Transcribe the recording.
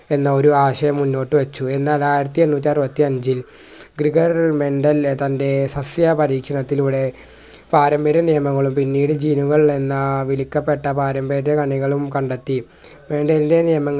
എന്ന ഒരു ആശയം മുന്നോട്ടു വെച്ചു എന്നാൽ ആയിരത്തി എണ്ണൂറ്റി അറുപത്തി അഞ്ചിൽ ഗ്രിഗർ mental ലെ തൻ്റെ സസ്യപരിക്ഷണത്തിലൂടെ പാരമ്പര്യ നിയമങ്ങളും പിന്നീട് gene കൾ എന്ന വിളിക്കപ്പെട്ട പാരമ്പര്യ കണികളും കണ്ടെത്തി രണ്ടിൻ്റെ നിയമങ്ങൾ